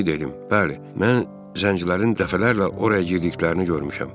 Odur ki, dedim, bəli, mən zəncilərin dəfələrlə oraya girdiklərini görmüşəm.